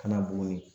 Kana bo ye